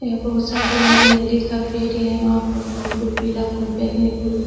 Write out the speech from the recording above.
यह बहोत सारे नारियाले का पेड़े हैं। वहा पर फूल पीला फूल बैगनी फूल --